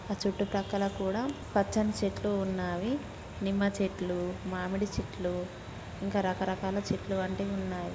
ఆ చుట్టు ప్రక్కల కూడా పచ్చని చెట్లు ఉన్నవి నిమ్మ చెట్లు మామిడి చెట్ల ఇంకా రకరకాల చెట్లు వంటివి ఉన్నాయి.